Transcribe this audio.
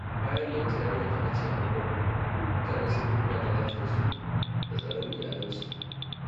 Bayan da wata yarinya ta bace a unguwarmu, mutane sun fi kula da lafiyarsu da tsaron iyalansu.